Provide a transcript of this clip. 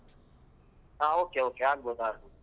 ಹಾ Okay okay ಆಗ್ಬೋದು ಆಗ್ಬೋದು.